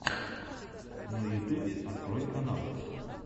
на ютубе открой каналы